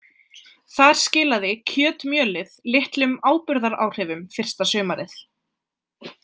Þar skilaði kjötmjölið litlum áburðaráhrifum fyrsta sumarið.